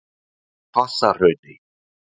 Hvassahrauni